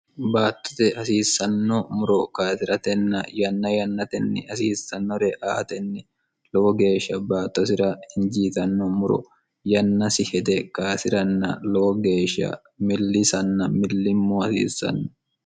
baattote hasiissanno muro kasiratenna yanna yannatenni hasiissannore aatenni lowo geeshsha baattosira injiitanno muro yannasi hede kasiranna lowo geeshsha millisanna millimmo hasiissanno